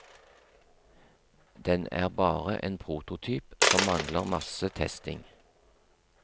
Den er bare en prototyp som mangler masse testing.